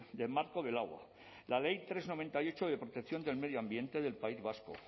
del marco del agua la ley tres barra noventa y ocho de protección del medio ambiente del país vasco